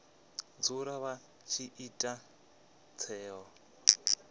dzula vha tshi ita tsheo